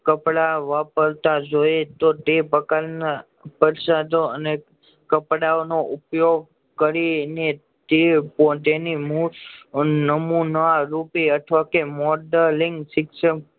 કપડાં વાપરતા જોવે તો તે પ્રકારના અને કપડાંઓનો ઉપયોગ કરી ને તેની નમૂના રૂપે અથવા તો મોડેલિંગ શિક્ષ